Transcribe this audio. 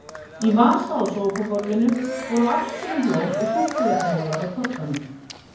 Í vasa á sófaborðinu voru afskorin blóm og súkkulaðimolar á koddanum.